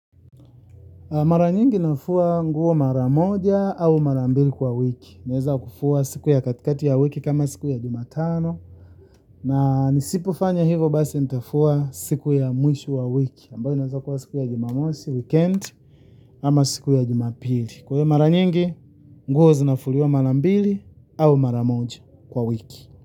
Mara nyingi nafua nguo mara moja au mara mbili kwa wiki naeza kufua siku ya katikati ya wiki kama siku ya Jumatano na nisipofanya hivo basi nitafua siku ya mwisho wa wiki ambayo inawezakuwa siku ya Jumamosi weekend ama siku ya Jumapili kwa hiyo mara nyingi nguo zinafuliwa mara mbili au mara moja kwa wiki.